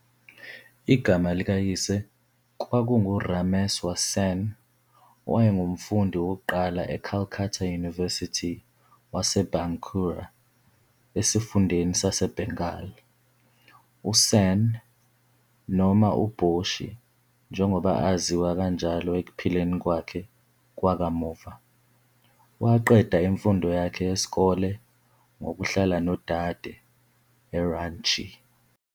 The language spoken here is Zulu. Igama likayise kwakunguRameswar Sen, owayengumfundi wokuqala e-Calcutta University wase-Bankura esifundeni sase-Bengal. USen, noma uBoshi njengoba aziwa kanjalo ekuphileni kwakhe kwakamuva, waqeda imfundo yakhe yesikole ngokuhlala nodade eRanchi.